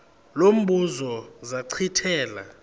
lo mbuzo zachithela